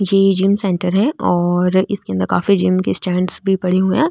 ये gym centre है और इसके अंदर काफी जिम के स्टेण्ड भी पड़े हुए है।